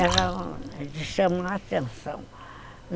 Era de chamar a atenção.